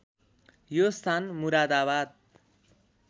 यो स्थान मुरादाबाद